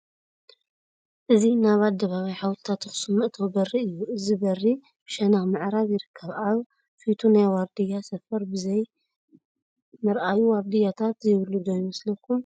እዚ ናብ ኣደባባይ ሓወልትታት ኣኽሱም መእተዊ በሪ እዩ፡፡ እዚ በሪ ብሸነኽ ምዕራብ ይርከብ፡፡ ኣብ ፊቱ ናይ ዋርድያ ሰፈር ብዘይምርኣዩ ዋርድያታት ዘይብሉ ዶ ይመስለኩም?